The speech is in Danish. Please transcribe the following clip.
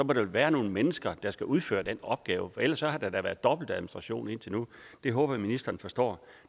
der vel være nogle mennesker der skal udføre de opgaver for ellers har der da været dobbeltadministration indtil nu det håber jeg ministeren forstår